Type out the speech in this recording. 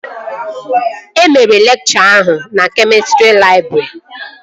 E mere lekchọ ahụ na kemịstrị labọretrị?